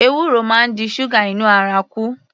Ewuro máa ń dín ṣúgà inú ara kù